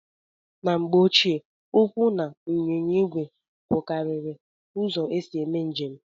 Na mgbe ochie ụkwụ na ịnyịnya ìgwè bụkarịrị uzo esị eme njem